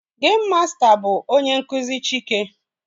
Geim masta bụ onye nkụzi Chike